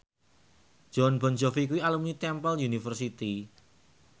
Jon Bon Jovi kuwi alumni Temple University